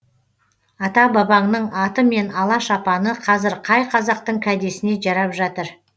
ата бабаңның аты мен ала шапаны қазір қай қазақтың кәдесіне жарап жатыр